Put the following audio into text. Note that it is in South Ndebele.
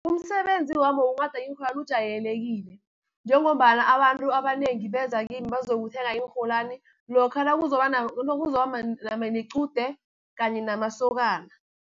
Umsebenzi wami wokunghada iinrholwani ujayelekile, njengombana abantu abanengi beza kimi bazokuthenga iinrholwani, lokha nakuzoba nequde kanye namasokana.